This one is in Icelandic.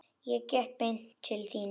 Ég gekk beint til þín.